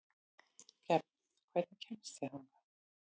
Gefn, hvernig kemst ég þangað?